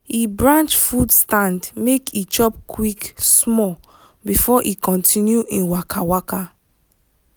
he branch food stand make he chop quick small before he continue him waka. waka.